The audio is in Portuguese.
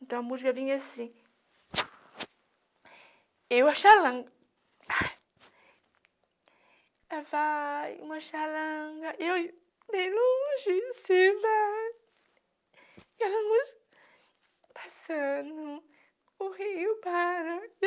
Então, a música vinha assim... Eu, a xalanga... Vai uma xalanga... Eu, bem longe em cima... Ela nos... Passando... O rio para... (fala enquanto chora)